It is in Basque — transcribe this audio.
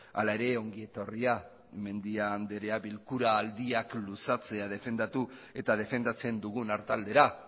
hala ere ongi etorria mendia andrea bilkura aldiak luzatzea defendatu eta defendatzen dugun artaldera